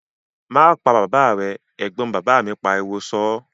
"Má pa bàbà rẹ" Ẹ̀gbọ́n bàbá mi pariwo sọ́ọ́